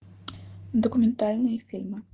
документальные фильмы